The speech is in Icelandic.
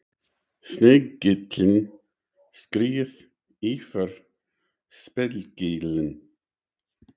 Snigillinn skreið yfir spegilinn.